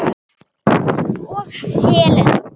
Hann og Helena.